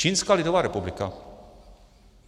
Čínská lidová republika!